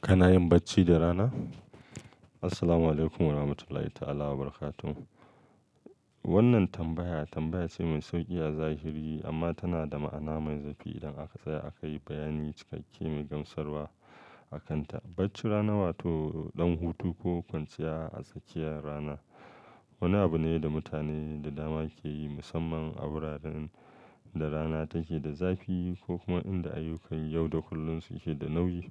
Kana yin bacci da rana? Assalamualaikum warahmatullahi ta'ala wabarakatuh. Wannan tambaya tambaya ce mai sauƙi a zahiri amma tana da ma'ana mai zurfi idan aka tsaya a kayi bayani cikakke mai gamsarwa akanta. Bacci rana wato ɗan hutu ko kwanciya a tsakiyar rana wani abu ne da mutane da dama ke yi musamman a wuraren da rana take da zafi ko kuma inda ayyukan yau da kullum suke da nauyi.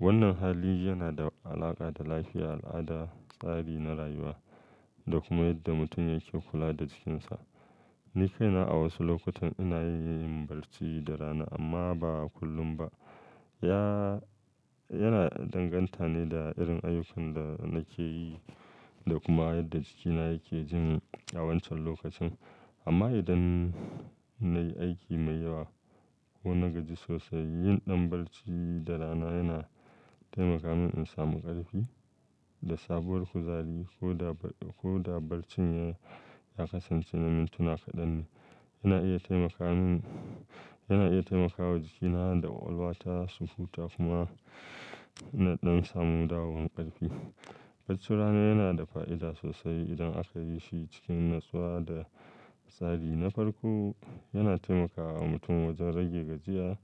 Wannan hali yana da alaƙa da lafiya, al'ada, tsari na rayuwa da kuma yadda mutum yake kula da jikinsa. Ni kaina a wasu lokutan ina iya yin barci da rana amma ba kullum ba. Ya yana danganta ne da irin ayyukan da nake yi da kuma yadda jikina yake jin a wancan lokacin. Amma idan nayi aiki mai yawa ko na gaji sosai yin ɗan bacci da rana yana taimaka min in samu ƙarfi da sabuwar kuzari ko da ko da barcin ya ya kasance na mintuna kaɗan ne. Yana iya taimaka mini yana iya taimakawa jikina da ƙwaƙwalwa ta sufuta kuma ina ɗan samu dawowan ƙarfi. Bacci rana yana da fa'ida sosai idan aka yi shi cikin natsuwa da tsari. Na farko, yana taimakawa mutum wajen rage gajiya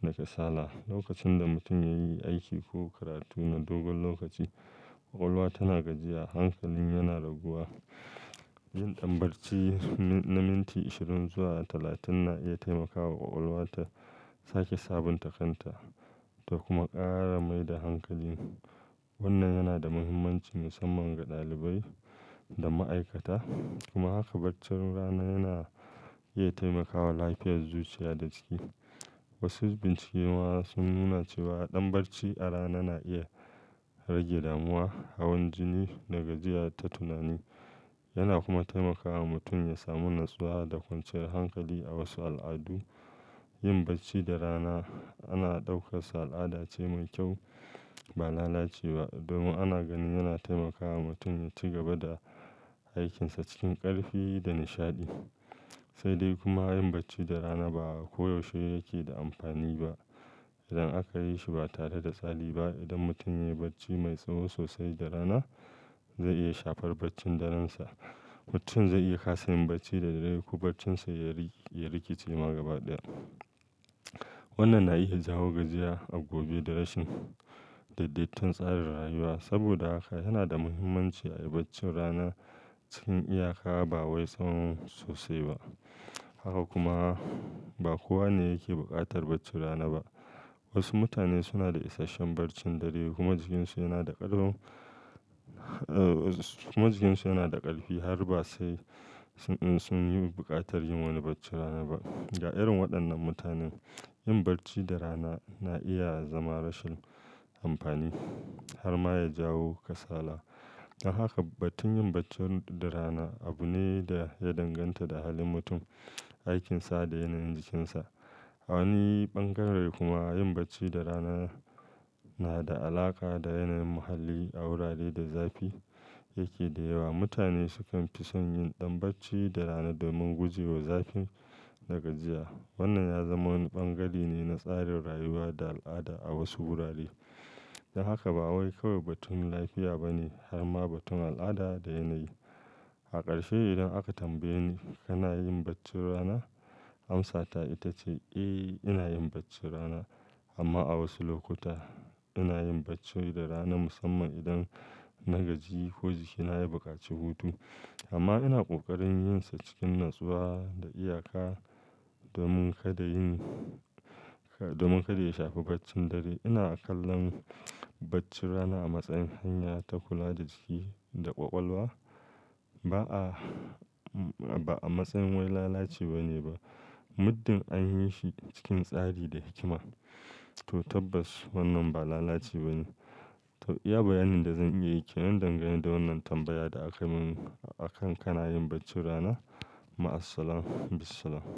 da kasala. Lokacin da mutum ya yi aiki ko karatu na dogon lokaci, ƙwaƙwalwa tana gajiya, hankalin yana raguwa. Yin ɗan bacci na minti ishirin zuwa talatin na iya taimakawa ƙwaƙwalwa ta sake sabunta kanta da kuma ƙara maida hankali. Wannan yana da mahimmanci mussamman ga ɗalibai da ma'aikata. Kuma haka bacci rana yana iya taimakawa lafiyar zuciya da jiki. Wasu bincike ma sun nuna cewa ɗan barci a rana na iya rage damuwa, hawan jini da gajiya ta tunani. Yana kuma taimakawa mutum ya samu natsuwa da kwanciyar hankali. A wasu al'adu, yin bacci da rana ana ɗaukarsa al'ada ce mai kyau ba lalacewa ba domin ana ganin yana taimakawa mutum ya ci gaba da aikinsa cikin ƙarfi da nishaɗi. Sai dai kuma yin bacci da rana ba koyaushe yake da amfani ba idan aka yi shi ba tare da tsari ba. Idan mutum ya yi bacci mai tsawo sosai da rana, zai iya shafar baccin darensa. Mutum zai iya ƙasa yin bacci da daddare ko baccinsa yariki ya rikice ma gaba ɗaya. Wannan na iya jawo gajiya a gobe da rashin daidaituwan tsarin rayuwa. Saboda haka yana da mahimmanci ayi bacci rana cikin iyaka ba wai tsawon sosai ba. Haka kuma ba kowa ne yake buƙatar baccin rana ba. Wasu mutane suna da isasshen barcin dare kuma jikinsu yana da ƙarfin kuma jikinsu yana da ƙarfi har ba sai sun yi buƙatar yin wani baccin rana ba. Ga irin waɗannan mutanen, yin bacci da rana na iya zama rashin amfani har ma ya jawo kasala. Don haka batun yin bacci da rana abu ne da ya danganta da halin mutum, aikinsa da yanayin jikinsa. A wani bangare kuma yin bacci da rana yana da alaƙa da yanayin muhalli. A wurare da zafi yake da yawa, mutane sukan fi son yin ɗan bacci da rana domin gujewa zafi da gajiya. Wannan ya zama wani bangare ne na tsarin rayuwa da al'ada a wasu wurare. Don haka ba wai kawai batun lafiya ba ne har ma batun al'ada da yanayi. A ƙarshe idan aka tambaye ni kana yin bacci rana? Amsa ta ita ce, eh ina yin baccin rana amma a wasu lokuta. Ina yin bacci da rana musamman idan na gaji ko jikina ya yi buƙaci hutu. Amma ina ƙoƙarin yin sa cikin natsuwa da iyaka domin kada yin domin kada ya shafi baccin dare. Ina kallon bacci rana a matsayin hanya ta kula da jiki da ƙwaƙwalwa ba a ba a matsayin wani lalaci ba ne ba muddin an yi shi cikin tsari da hikima. To tabbas wannan ba lalaci ba ne. To iya bayanin da zan iya yi ke nan dangane da wannan tambaya da aka min akan kana yin baccin rana? Ma assalam bisalam.